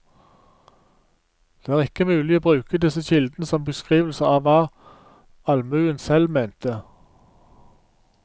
Det er ikke mulig å bruke disse kildene som beskrivelser av hva allmuen selv mente.